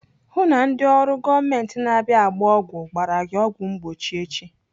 Hụụ na ndị ụlọ ọrụ gọọmenti na-abịa agba ọgwụ gbara gị ọgwụ mgbochi echi!